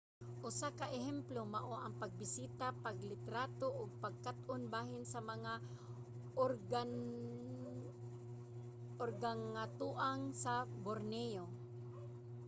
usa ka ehemplo mao ang pagbisita paglitrato ug pagkat-on bahin sa mga organgatuang sa borneo